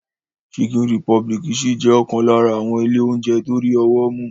Chicken Republic ṣì jẹ́ ọ̀kan lára àwọn ilé oúnjẹ tó rí ọwọ́ mú.